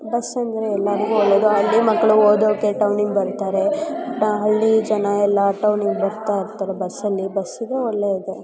Bus ಅಂದ್ರೆ ಎಲ್ಲರಿಗೂ ಒಳ್ಳೆಯದು ಎಲ್ಲಾದ್ರೂ ಹೋಗಬಹುದು ಬರಬಹುದು ಹಳ್ಳಿ ಜನ ಎಲ್ಲ ಟೌನುಗ್ ಬರ್ತಾರೆ ಒಳ್ಳೆಯದು.